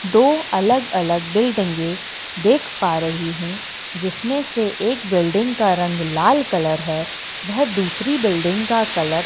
दो अलग-अलग बिल्डिंगें देख पा रही हूं जिसमें से एक बिल्डिंग का रंग लाल कलर है वह दुसरी बिल्डिंग का कलर --